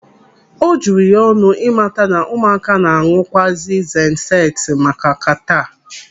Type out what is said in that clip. O juru ya ọnụ ịmata na ụmụaka na-aṅụ kwazi zenseti maka kataa.